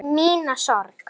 Hún brosir með sjálfri sér.